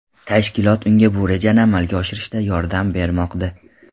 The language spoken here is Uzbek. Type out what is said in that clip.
Tashkilot unga bu rejani amalga oshirishda yordam bermoqda.